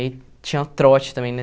Aí tinha trote também, né?